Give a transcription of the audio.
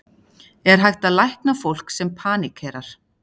Er hægt að lækna fólk sem paníkerar?